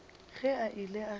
ge a ile a se